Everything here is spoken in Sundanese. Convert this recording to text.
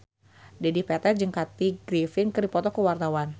Dedi Petet jeung Kathy Griffin keur dipoto ku wartawan